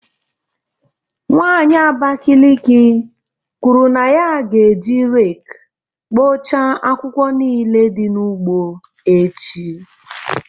Nwanyị Abakiliki kwuru na ya ga-eji rake kpochaa akwụkwọ niile dị n’ugbo echi.